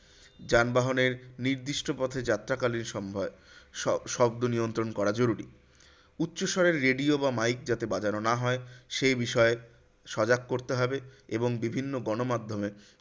যানবাহনের নির্দিষ্ট পথে যাত্রাকালীন শ শব্দ নিয়ন্ত্রণ করা জরুরি। উচ্চস্বরে radio বা mike যাতে বাজানো না হয় সেই বিষয়ে সজাগ করতে হবে এবং বিভিন্ন গণমাধ্যমে